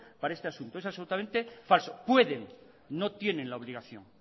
para este asunto pueden no tienen la obligación